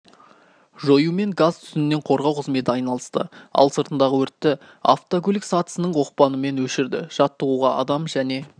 жоюмен газ-түтіннен қорғау қызметі айналысты ал сыртындағы өртті автокөлік сатысының оқпанымен өшірді жаттығуға адам және